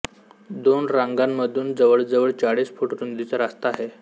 दोन रांगांमधून जवळजवळ चाळीस फूट रुंदीचा रस्ता आहे